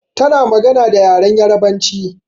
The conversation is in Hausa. Ta na magana da yaren Yarabanci